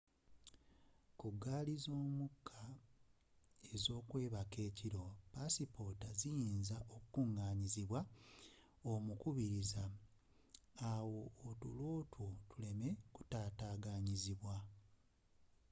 ku gaali z'omukka ez'okwebaka ekiro passipota ziyinza okukunganyizibwa omukubiriza awo otulo two tuleme okutataganyizibwa